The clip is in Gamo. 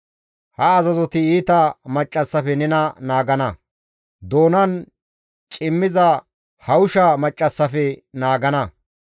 Ha azazoti iita maccassafe nena naagana; doonan cimmiza hawusha maccassafekka naagana.